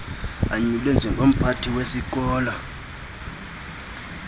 anyulwe njengomphathi wesikolo